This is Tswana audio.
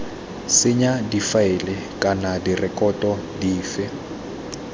senya difaele kana direkoto dife